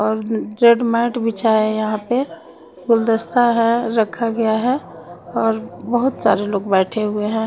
और जेट मॅट बिछाये है यहाँ पे गुलदस्ता है रखा गया है और बोहोत सारे लोग बैठे हुए है।